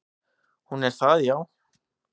"""Hún er það, já."""